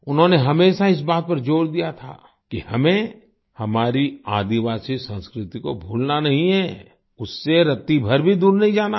उन्होंने हमेशा इस बात पर जोर दिया था कि हमें हमारी आदिवासी संस्कृति को भूलना नहीं है उससे रत्तीभर भी दूर नहीं जाना है